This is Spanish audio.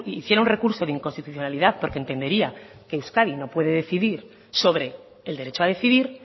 hiciera un recurso de inconstitucionalidad porque entendería que euskadi no puede decidir sobre el derecho a decidir